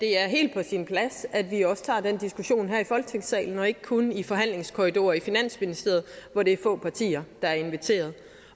er helt på sin plads at vi også tager den diskussion her i folketingssalen og ikke kun i forhandlingskorridorer i finansministeriet hvor det er få partier der er inviteret